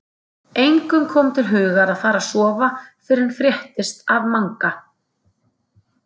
Engum kom til hugar að fara að sofa fyrr en fréttist af Manga.